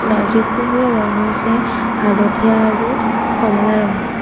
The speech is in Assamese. নাৰ্জী ফুলৰ ৰং হৈছে হালধীয়া আৰু কমলা ৰঙৰ।